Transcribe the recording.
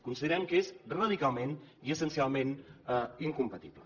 considerem que és radicalment i essencialment incompatible